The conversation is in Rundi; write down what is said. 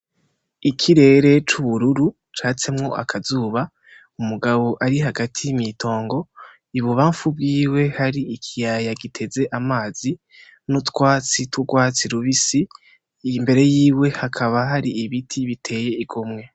Ikirere c'ubururu catsemwo akazuba, umugabo ari hagati mw'itongo, I bubamfu bwiwe hari ikiyaya giteze amazi n'utwatsi tw'urwatsi rubisi, imbere yiwe hakaba hari ibiti biteye igomwe.